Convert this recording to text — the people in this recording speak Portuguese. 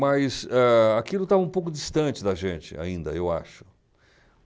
Mas, ah, aquilo estava um pouco distante da gente ainda, eu acho.